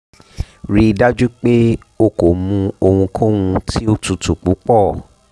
rii daju pe o ko mu ohunkohun ti o tutu pupọ